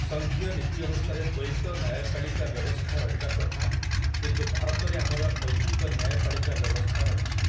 ସଂଘୀୟ ନୀତି ଅନୁସାରେ ଦ୍ୱୈତ ନ୍ୟାୟପାଳିକା ବ୍ୟବସ୍ଥା ରହିବା କଥା କିନ୍ତୁ ଭାରତରେ ଆମର ଐକିକ ନ୍ୟାୟପାଳିକା ବ୍ୟବସ୍ଥା ରହିଛି ।